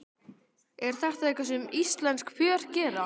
Er þetta eitthvað sem íslensk pör gera?